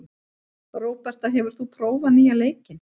Róberta, hefur þú prófað nýja leikinn?